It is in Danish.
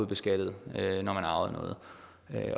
beskattet når man arvede noget